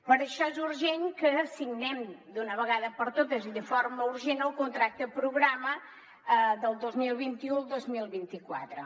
per això és urgent que signem d’una vegada per totes i de forma urgent el contracte programa del dos mil vint u al dos mil vint quatre